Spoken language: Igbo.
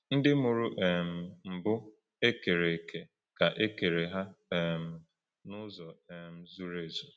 Ndị mụrụ um mbụ e kere eke ka e kere ha um n’uzo um zuru ezu.